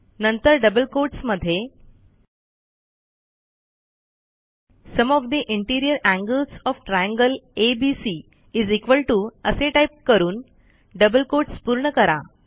नंतरdouble quotes मध्ये sum of the interior angles of triangle ABC असे type करून double quotes पूर्ण करा